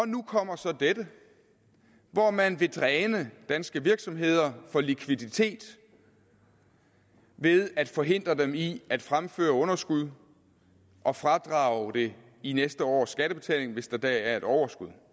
nu kommer så dette hvor man vil dræne danske virksomheder for likviditet ved at forhindre dem i at fremføre underskud og fradrage det i næste års skattebetaling hvis der da er et overskud